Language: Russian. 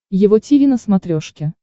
его тиви на смотрешке